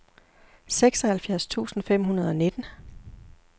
seksoghalvfjerds tusind fem hundrede og nitten